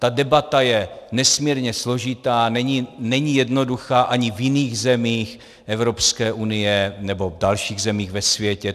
Ta debata je nesmírně složitá, není jednoduchá ani v jiných zemích Evropské unie nebo v dalších zemích ve světě.